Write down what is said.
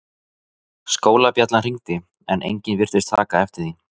Skólabjallan hringdi en enginn virtist taka eftir því.